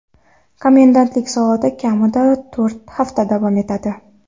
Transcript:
Komendantlik soati kamida to‘rt hafta davom etadi.